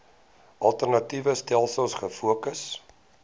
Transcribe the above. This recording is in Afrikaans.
alternatiewe stelsels gefokus